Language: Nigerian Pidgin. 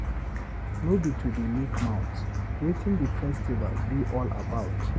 No be to dey make mouth, wetin the festival be all about?